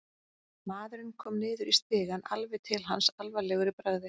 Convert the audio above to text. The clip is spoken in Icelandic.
Maðurinn kom niður í stigann, alveg til hans, alvarlegur í bragði.